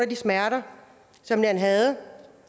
de smerter som man havde